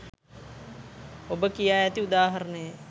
ඔබ කියා ඇති උදාහරණයේ